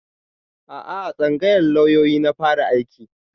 A'a a tsangayar lauyoyi na fara aiki